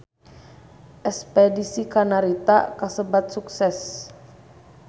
Espedisi ka Narita kasebat sukses